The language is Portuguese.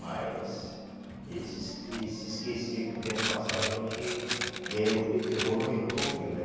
Mas ele se es ele se esquecia que o tempo passava e a gente ia evoluindo um pouquinho, né?